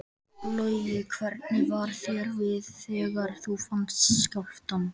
Logi: Hvernig var þér við þegar þú fannst skjálftann?